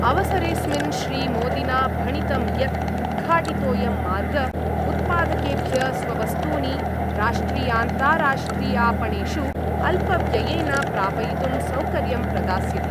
अवसरेस्मिन् श्रीमोदिना भणितं यत् उद्घाटितोऽयं मार्ग उत्पादकेभ्य स्ववस्तूनि राष्ट्रियान्ताराष्ट्रियापणेषु अल्पव्ययेन प्रापयितुं सौकर्यं प्रदास्यति।